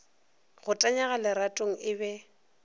go tanyega leratong e be